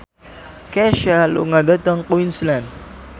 Kesha lunga dhateng Queensland